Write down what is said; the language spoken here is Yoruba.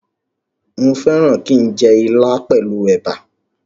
Mo fẹ́ràn kí n jẹ ilá pẹ̀lú ẹ̀bà